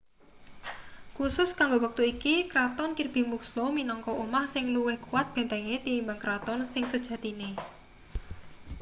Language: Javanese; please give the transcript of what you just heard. khusus kanggo wektu iki kraton kirby muxloe minangka omah sing luwih kuwat bentenge tinimbang kraton sing sejatine